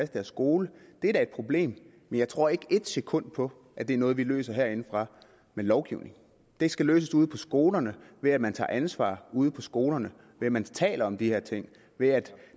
deres skole er da et problem men jeg tror ikke ét sekund på at det er noget vi løser herindefra med lovgivning det skal løses ude på skolerne ved at man tager ansvar ude på skolerne ved at man taler om de her ting ved at